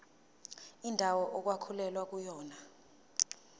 indawo okwakulwelwa kuyona